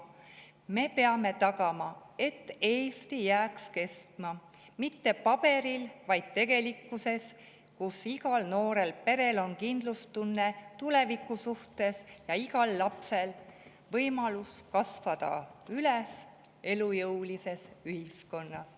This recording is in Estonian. Me peame tagama, et Eesti jääks kestma mitte paberil, vaid tegelikkuses, kus igal noorel perel on kindlustunne tuleviku suhtes ja igal lapsel võimalus kasvada üles elujõulises ühiskonnas.